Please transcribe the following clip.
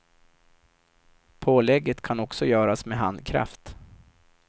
Pålägget kan också göras med handkraft.